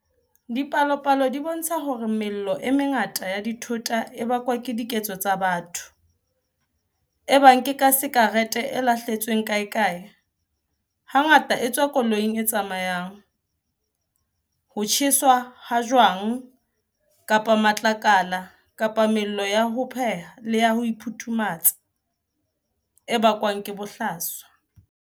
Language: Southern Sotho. Dipalopalo di bontsha hore mello e mengata ya dithota e bakwa ke diketso tsa batho, ebang ke ka sakerete e lahletsweng kaekae, hangata e tswa koloing e tsamayang, ho tjheswa ha jwang kapa matlakala kapa mello ya ho pheha le ya ho iphuthumetsa, e bakwang ke bohlaswa.